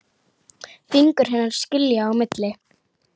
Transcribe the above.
Fingur hennar skilja á milli.